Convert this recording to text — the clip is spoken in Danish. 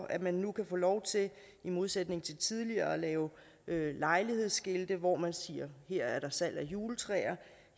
at man nu kan få lov til i modsætning til tidligere at lave lejlighedsskilte hvor man siger at her er der salg af juletræer